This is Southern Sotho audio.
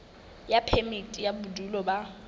ya phemiti ya bodulo ba